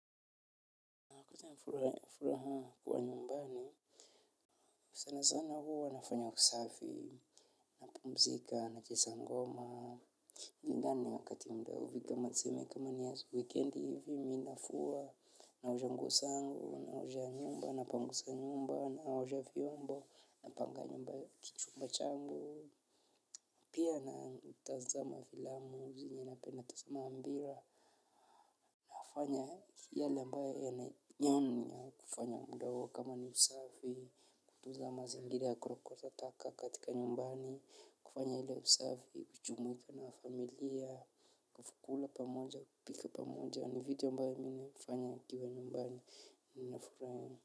Na kuleta furaha kwa nyumbani. Sana sana huwa nafanya usafi, napumzika, nacheza ngoma yani wakati mwingine hufika tuseme kama ni ya wikendi hivi mi nafua naosha nguo zangu naosha nyumba napanguza nyumba naosha vyombo napanga nyumba, kichumba changu. Pia nautazama filamu zenye napenda tuseme mpira. Nafanya yale ambaye yanyoni ya kufanya mdogo kama ni usafi, kutuza mazingira ya kurokota taka katika nyumbani, kufanya ile usafi, kujumuika na familia, kula pamoja, kupika pamoja, ni vitu ambayo mimi hufanya nikiwa nyumbani nina furaha.